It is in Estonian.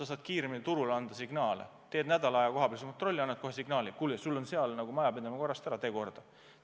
Sa saad kiiremini turule anda signaale, teed nädal aega kohapealset kontrolli ja annad kohe signaali: kuule, sul on majapidamine korrast ära, tee korda.